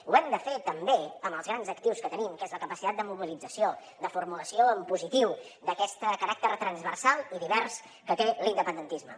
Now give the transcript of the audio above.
ho hem de fer també amb els grans actius que tenim que és la capacitat de mobilització de formulació en positiu d’aquest caràcter transversal i divers que té l’independentisme